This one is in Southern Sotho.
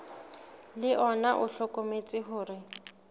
le ona o hlokometse hore